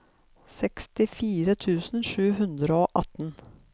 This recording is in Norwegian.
sekstifire tusen sju hundre og atten